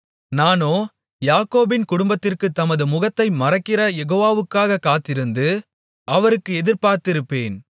நானோ யாக்கோபின் குடும்பத்திற்குத் தமது முகத்தை மறைக்கிறயெகோவாவுக்காகக் காத்திருந்து அவருக்கு எதிர்பார்த்திருப்பேன்